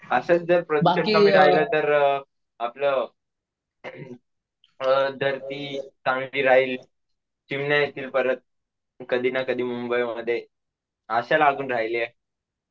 अशाच जर आपलं अम धरती चांगली राहील, चिमण्या येतील परत कधी ना कधी मुंबईमध्ये आशा लागून राहिलीये.